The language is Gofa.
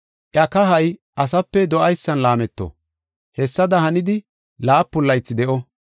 Iya kahay asape do7aysan laameto; hessada hanidi laapun laythi de7o.